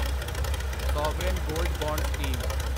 sovereign gold bond scheme